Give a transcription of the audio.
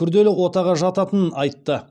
күрделі отаға жататынын айтты